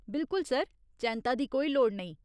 बिल्कुल सर, चैंत्ता दी कोई लोड़ नेईं।